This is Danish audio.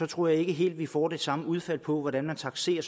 tror jeg ikke helt vi får det samme udfald på hvordan man takserer